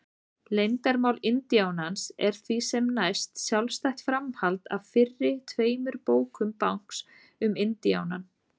Leyndarmál indíánans er því sem næst sjálfstætt framhald af fyrri tveimur bókum Banks um indíánann.